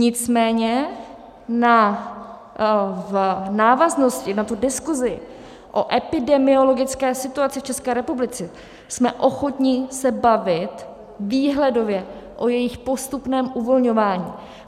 Nicméně v návaznosti na tu diskuzi o epidemiologické situaci v České republice jsme ochotni se bavit výhledově o jejich postupném uvolňování.